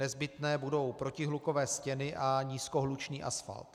Nezbytné budou protihlukové stěny a nízkohlučný asfalt.